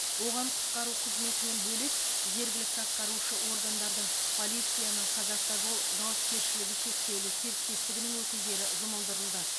оған құтқару қызметінен бөлек жергілікті атқарушы органдардың полицияның қазавтожол жауапкершілігі шектеулі серіктестігінің өкілдері жұмылдырылды